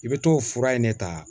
I bɛ t'o fura in de ta